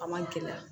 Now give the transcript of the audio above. A ma gɛlɛya